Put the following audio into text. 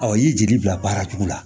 Ɔ i y'i jaabi bila baara cogo la